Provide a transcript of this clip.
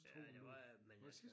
Ja det var jeg men øh så